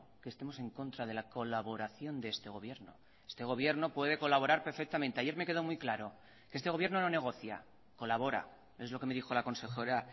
que estemos en contra de la colaboración de este gobierno este gobierno puede colaborar perfectamente ayer me quedó muy claro este gobierno no negocia colabora es lo que me dijo la consejera